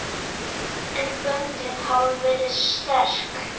En böndin hafa verið sterk.